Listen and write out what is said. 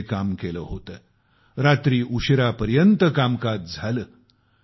आपण ज्या लोकप्रतिनिधींना संसदेत पाठविले त्यांनी साठ वर्षांचे सर्व विक्रम मोडले आहेत